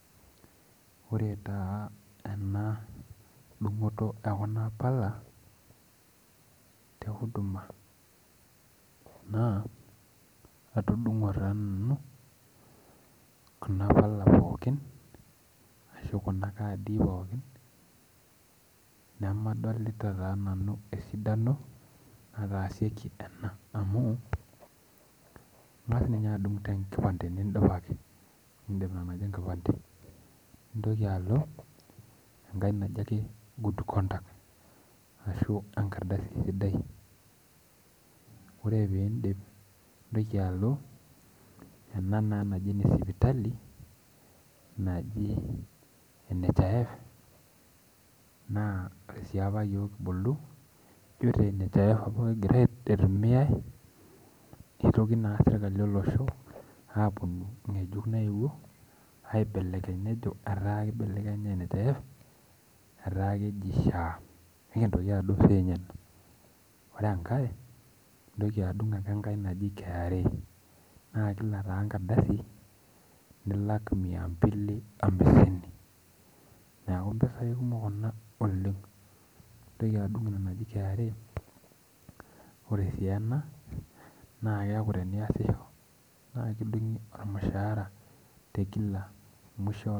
Ore taa ena dung'oto ekuna pala, te huduma naa, atudung'o taa nanu, kuna pala pookin, ashu kuna kaadi pookin, nemedolita taa nanu esidano nataasieki ena. Amu, ing'as ninye adung' tenkipande nidol ake. Nidip ina naji enkipande. Nintoki alo, enkae naji ake good conduct. Ashu enkardasi sidai. Ore pidip, nintoki alo ena naa naji ene sipitali, naji NHIF, naa ore si apa yiok kibulu, jo te NHIF apa itumiai, nitoki naa sirkali olosho aponu ng'ejuk naewuo, aibelekeny nejo etaa kibelekenyi NHIF, etaa keji SHA. Nikintoki adung' sinye ina. Ore enkae, nintoki adung' ake enkae naji KRA. Na kila taa enkardasi, nilak mia mbili oamisini. Neeku mpisai kumok kuna oleng. Nintoki adung' ina naji KRA, ore si ena, naa keeku teniasisho, na ekidung'i ormushaara tekila musho